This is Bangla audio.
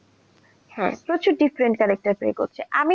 হ্যাঁ প্রচুর different character play করছে, আমি